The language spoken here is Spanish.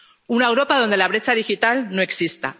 una Europa donde la brecha digital no exista